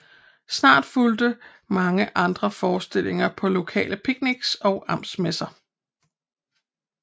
Snart fulgte mange andre forestillinger på lokale picnics og amtsmesser